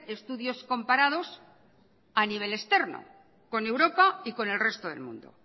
estudios comparados a nivel externo con europa y con el resto del mundo